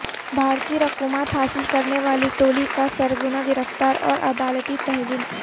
بھاری رقومات حاصل کرنے والی ٹولی کا سرغنہ گرفتاراور عدالتی تحویل